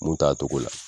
Mun t'a togo la